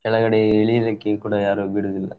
ಕೆಳಗಡೆ ಇಳಿಲಿಕೆ ಕೂಡ ಯಾರು ಬಿಡುದಿಲ್ಲ.